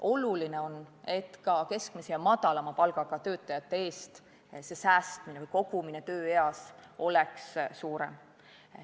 Oluline on, et ka keskmise ja madalama palgaga töötajate puhul oleks see säästmine või kogumine tööeas suurem.